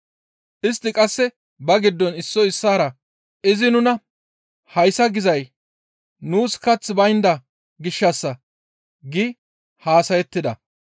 Istti qasse ba giddon issoy issaara, «Izi nuna hayssa gizay nuus kaththi baynda gishshassa» gi haasayettida.